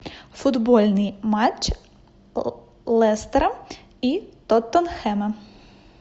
футбольный матч лестера и тоттенхэма